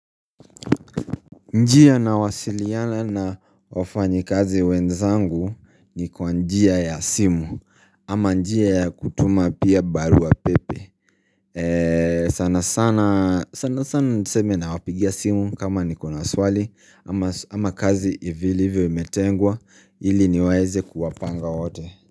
Njia na wasili yale na ofanyi kazi wenzangu ni kwa njia ya simu ama njia ya kutuma pia baru wa pepe sana sana niseme na wapigia simu kama nikona swali ama kazi ivilivyo imetengwa ili ni waeze kuwapanga wote.